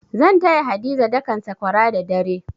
Zan taya Hadiza dakan sakwara da dare.